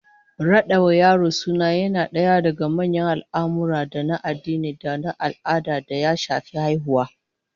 Rada wa yaro suna yana daga manyan al'amurra na addini da al'ada da ya shafi haihuwa